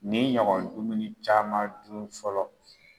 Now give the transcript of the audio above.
Nin ɲɔgɔn dumuni caman dun fɔlɔ